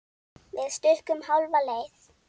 Við stukkum hálfa leið.